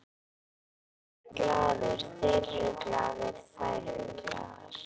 Ég er glaður, þeir eru glaðir, þær eru glaðar.